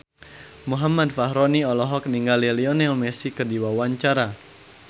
Muhammad Fachroni olohok ningali Lionel Messi keur diwawancara